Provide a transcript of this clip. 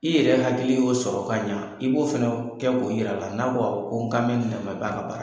I yɛrɛ hakili y'o sɔrɔ ka ɲa i b'o fana kɛ k'o yir'a la n'a ko awɔ n kan mɛ nin de ma i b'a ka baara kɛ.